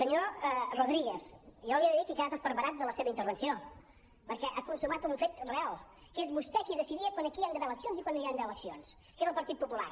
senyor rodríguez jo li he de dir que he quedat esparverat de la seva intervenció perquè ha consumat un fet real que és vostè qui decidia quan aquí hi han d’haver eleccions i quan no hi han d’haver eleccions que és el partit popular